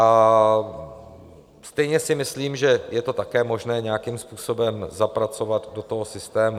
A stejně si myslím, že je to také možné nějakým způsobem zapracovat do toho systému.